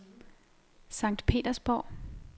Sankt Petersborg